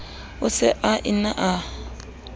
o se a ne a